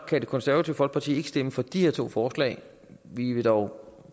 kan det konservative folkeparti ikke stemme for de her to forslag vi vil dog